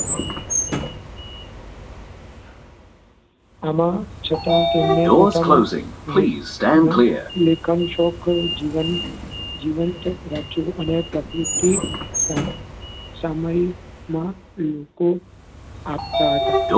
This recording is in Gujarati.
આમાં છઠા કેન્દ્રે પોતાના લેખન લેખન શોખ જીવંત જીવંત રાખ્યો અને પ્રકૃતિ સામાયિકમાં લેખો આપતાં હતાં.